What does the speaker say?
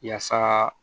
Yaasa